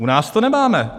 U nás to nemáme.